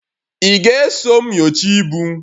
Ị ga-eso m nyochaa ibu?